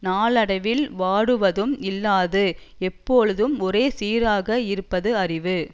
நாளடைவில் வாடுவதும் இல்லாது எப்போலுதும் ஒரே சீராக இருப்பது அறிவு